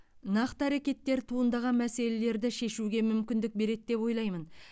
нақты әрекеттер туындаған мәселелерді шешуге мүмкіндік береді деп ойлаймын